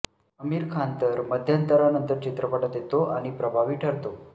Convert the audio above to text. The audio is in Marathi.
अमिर खान तर मध्यंतरानंतर चित्रपटात येतो आणि प्रभावी ठरतो